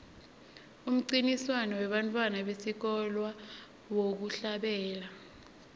umncintiswano webantfwana besikolwa wekuhlabela